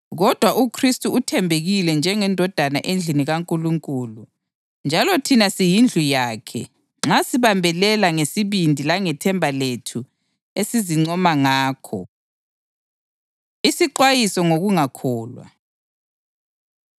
Kodwa uKhristu uthembekile njengendodana endlini kaNkulunkulu. Njalo thina siyindlu yakhe nxa sibambelela ngesibindi langethemba lethu esizincoma ngakho. Isixwayiso Ngokungakholwa